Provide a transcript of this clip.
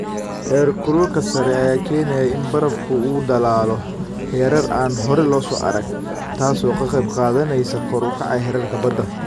Heerkulka sare ayaa keenaya in barafku uu dhalaalo heerar aan hore loo arag, taas oo qayb ka qaadanaysa kor u kaca heerarka badda.